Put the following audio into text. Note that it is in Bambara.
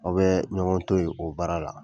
Aw bɛ ɲɔgɔn to ye o baara la.